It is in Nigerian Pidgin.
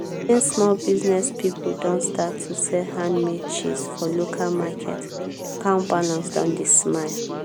since small business pipo don start to sell handmade cheese for local market account balance don dey smile.